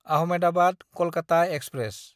Ahmedabad-Kolkata express